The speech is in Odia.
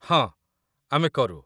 ହଁ, ଆମେ କରୁ।